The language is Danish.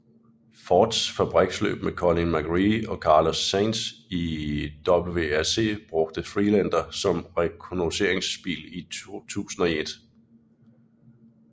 Fords fabriksløb med Colin McRae og Carlos Sainz i WRC brugte Freelander som rekognosceringsbil i 2001